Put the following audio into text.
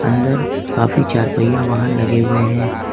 अंदर काफी चार पहिया वाहन लगे हुए हैं।